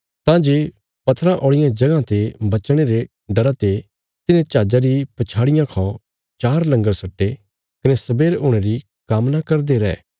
तां जे पत्थराँ औल़ियां जगहां ते बचणे रे डरा ते तिन्हें जहाजा री पछाड़िया खौ चार लंगर सट्टे कने सबेर हुणे री कामना करदे रै